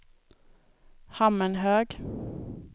Hammenhög